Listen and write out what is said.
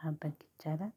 ማድረግ ይቻላል።